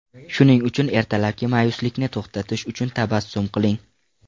Shuning uchun ertalabki ma’yuslikni to‘xtatish uchun tabassum qiling.